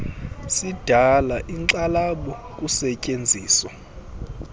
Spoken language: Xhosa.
sidala inkxalabo kusetyenziso